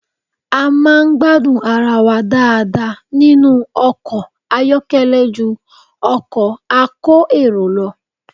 A máa ń gbádùn ara wa dáadáa nínú ọkọ̀ àyọ́kẹ́lẹ́ ju ọkọ̀ a kó èrò lọ